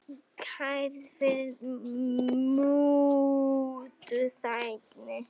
Kærð fyrir mútuþægni